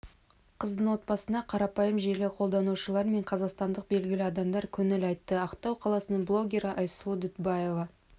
қыздың отбасына қарапайым желі қолданушылар мен қазақстандық белгілі адамдар көңіл айтты ақтау қаласының блогері айсұлу дүтбаева